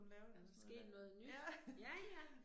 Sket noget nyt, ja ja